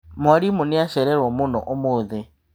Mwarimũ nĩacerero mũno ũmũthĩ.